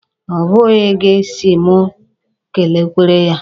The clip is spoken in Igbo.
Ọ bụghị gị si mụ e kelekwere ya.